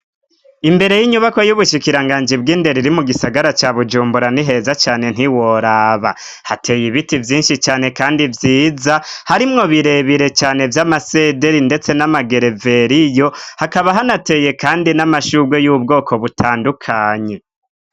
Imbere y'inyubakwa y'ubushikiranganji bw'indero iri mu gisagara ca Bujumbura ni heza cane ntiworaba, hateye ibiti vyinshi cane kandi vyiza, harimwo birebire cane vy'amasederi ndetse n'amagereveriyo, hakaba hanateye kandi n'amashurwe y'ubwoko butandukanye.